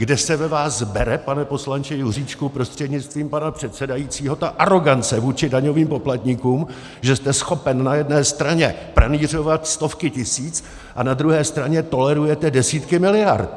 Kde se ve vás bere, pane poslanče Juříčku prostřednictvím pana předsedajícího, ta arogance vůči daňovým poplatníkům, že jste schopen na jedné straně pranýřovat stovky tisíc a na druhé straně tolerujete desítky miliard?!